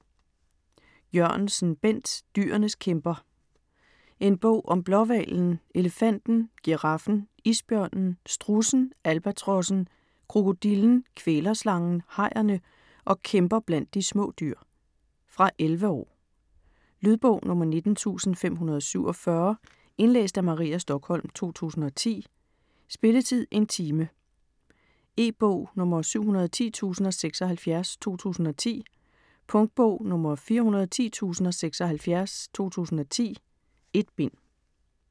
Jørgensen, Bent: Dyrenes kæmper En bog om blåhvalen, elefanten, giraffen, isbjørnen, strudsen, albatrossen, krokodillen, kvælerslangen, hajerne og kæmper blandt de små dyr. Fra 11 år. Lydbog 19547 Indlæst af Maria Stokholm, 2010. Spilletid: 1 time, 0 minutter. E-bog 710076 2010. Punktbog 410076 2010. 1 bind.